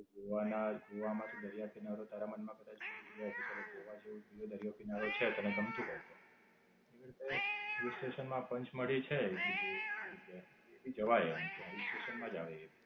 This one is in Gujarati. જોવાના, જોવામાં શું દરિયાકિનારો તારા મન માં કદાચ એવું હોય કે ચાલો ગોવા જવું દરિયાકિનારો છે તને ગમતું હોય તો. તેવી રીતે Hill station માં પંચમળી છે એક બીજે એક જગ્યા છે. જવાય એમ ત્યાં Hill station માં જ આવે એ.